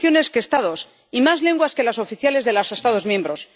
y más naciones que Estados y más lenguas que las oficiales de los Estados miembros.